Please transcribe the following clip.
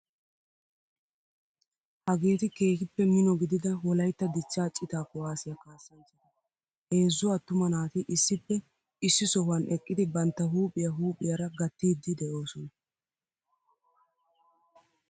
Hageeti keehippe mino gidida wolaytta dichchaa citaa kuwaasiya kasanchchata, heezzu attuma naati issippe issi sohuwan eqqidi bantta huuphiya huphphiyaara gattiidi de'oosona